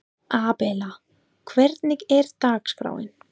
Abela, hvernig er dagskráin?